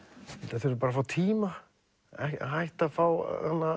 þeir þurfa bara að fá tíma hætta að fá